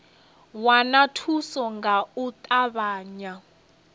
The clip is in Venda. wana thuso nga u ṱavhanya